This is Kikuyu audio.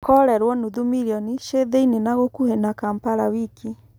Korerwo nuthu milioni ci thĩinĩ na gũkuhĩ na Kampala wiki.